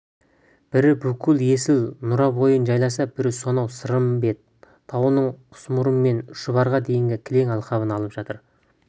бірі бүкіл есіл нұра бойын жайласа бірі сонау сырымбет тауының құсмұрын мен шұбарға дейінгі кең алқабын алып жатыр